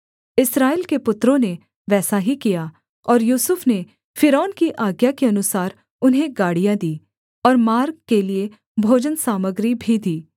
इस्राएल के पुत्रों ने वैसा ही किया और यूसुफ ने फ़िरौन की आज्ञा के अनुसार उन्हें गाड़ियाँ दी और मार्ग के लिये भोजनसामग्री भी दी